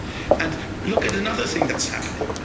And look at another thing that's happening.